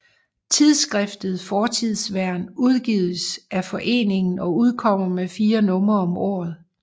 Tidsskriftet Fortidsvern udgives af foreningen og udkommer med fire numre om året